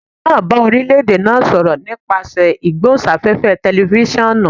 Aare naa ba orilẹ-ede naa sọrọ nipasẹ igbohunsafefe tẹlifisiọnu.